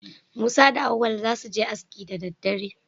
Musa da Auwal za su je aski da daddare.